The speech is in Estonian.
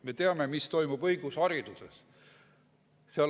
Me teame, mis toimub õigushariduses.